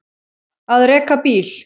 Að reka bíl